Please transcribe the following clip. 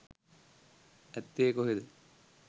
ඇත්තේ කොහේද